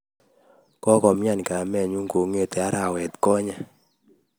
kokomian kamenyu kong'ete arawet konye